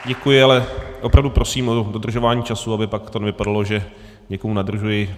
Děkuji, ale opravdu prosím o dodržování času, aby to pak nevypadalo, že někomu nadržuji.